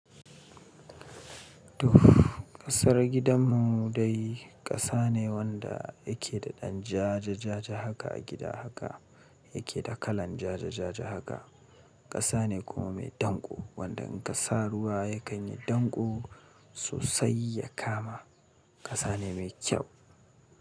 Tuff, ƙasar gidanmu dai ƙasa ne wanda yake da ɗan ja-ja-ja-ja haka a gida haka, yake da kalan ja-ja-ja-ja haka. Ƙasa ne kuma mai danƙo wanda in ka sa ruwa yakan yi danƙo sosai ya kama. Ƙasa ne mai kyau.